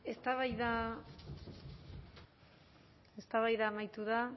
eztabaida amaitu da